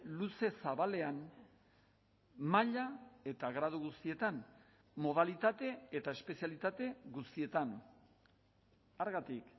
luze zabalean maila eta gradu guztietan modalitate eta espezialitate guztietan hargatik